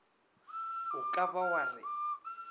o ka ba wa re